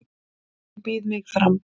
Ég býð mig fram